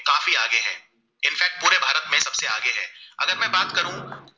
में बात करू